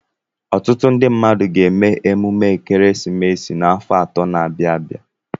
Ọtụtụ ndị mmadụ ga-eme emume ekeresimesi n'afọ atọ na-abịa abịa.